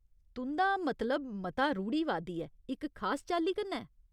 तुं'दा मतलब मता रूढ़ीवादी ऐ, इक खास चाल्ली कन्नै ?